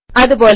അതുപോലെ